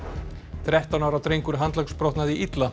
þrettán ára drengur handleggsbrotnaði illa